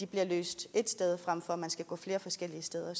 bliver løst ét sted frem for at man skal gå flere forskellige steder